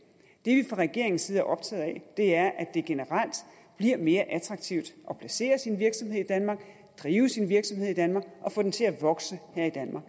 det vi fra regeringens side er optaget af er at det generelt bliver mere attraktivt at placere sin virksomhed i danmark drive sin virksomhed i danmark og få den til at vokse her i danmark